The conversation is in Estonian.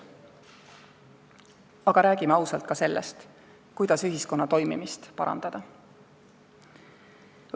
Aga räägime ausalt ka sellest, kuidas ühiskonna toimimist parandada.